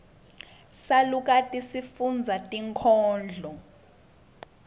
salukati sifundza tinkhondlo